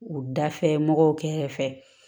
U dafɛ mɔgɔw kɛrɛ fɛ